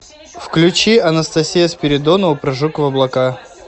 включи анастасия спиридонова прыжок в облака